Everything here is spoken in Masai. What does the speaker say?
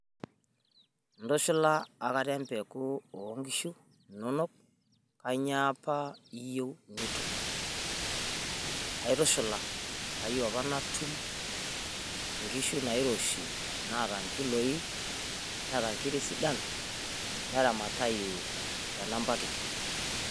Intushula akata empeku oo nkishu inonok? Kanyioo apa iyieu nitum? aitushula kayieuu apa natuum nkishu nairoshi naata nkiloinetaa nkiri sidan neramatayu te namba kiti